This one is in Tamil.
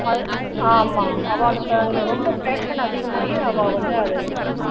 அது அஹ் ஆமா அவாளுக்கு அதுல ரொம்ப passion அதிகமாயி அவா வந்து அதை இது பண்ணா